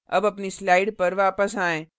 अब अपनी slides पर वापस आएँ